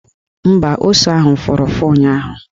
Mba, ose ahụ fụrụ ụfụ ụnyaahụ